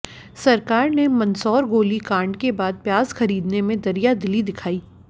सरकार ने मंदसौर गोली कांड के बाद प्याज़ खरीदने में दरिया दिली दिखाई